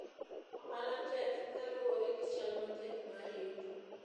ohala tek kaluwore gi chal matek mar yuto